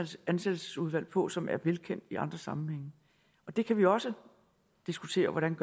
ansættelsesudvalg på som er velkendt i andre sammenhænge det kan vi også diskutere hvordan